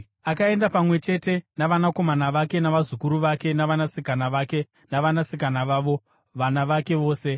Akaenda pamwe chete navanakomana vake, navazukuru vake navanasikana vake navanasikana vavo, vana vake vose.